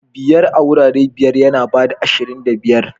Biyar a wurare biyar yana ba da ashirin da biyar.